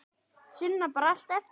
Sunna: Bara allt eftir?